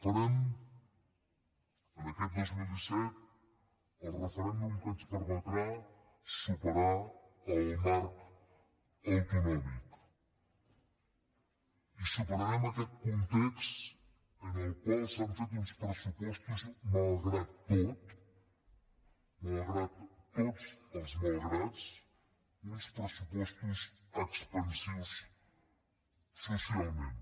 farem aquest dos mil disset el referèndum que ens permetrà superar el marc autonòmic i superarem aquest context en el qual s’han fet uns pressupostos malgrat tot malgrat tots els malgrats expansius socialment